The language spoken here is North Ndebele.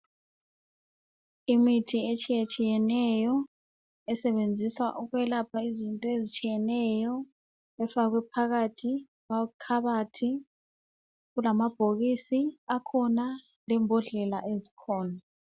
Imithi etshiyetshiyeneyo esetshenziswa ukwelapha izinto ezitshiyeneyo ifakwe phakathi kwekhabothi kulamabhokisi akhona lembodlela esikhona.